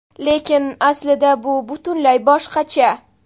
Lekin aslida bu butunlay boshqacha.